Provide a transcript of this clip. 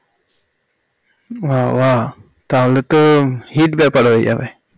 বাহ বাহ তাহলে তো hit ব্যাপার হয়ে যাবে